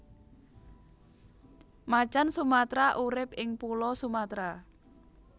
Macan Sumatra urip ing Pulo Sumatra